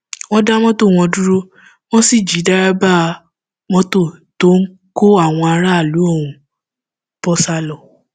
wọn dá mọtò wọn dúró wọn sì jí dèrèbà mọtò tó ń kó àwọn aráàlú ọhún bó sá lọ